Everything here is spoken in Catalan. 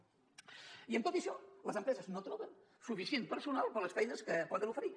i amb tot i això les empreses no troben suficient personal per a les feines que poden oferir